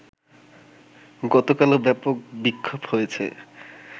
গতকালও ব্যাপক বিক্ষোভ হয়েছে